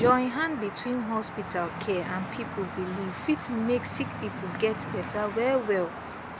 join hand between hospital care and people belief fit make sick people get better wellwell